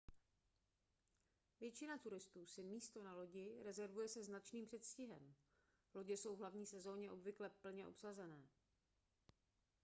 většina turistů si místo na lodi rezervuje se značným předstihem lodě jsou v hlavní sezóně obvykle plně obsazené